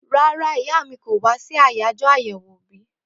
Rárá ìyá mi kò wá sí àyájọ́ àyèwò òbí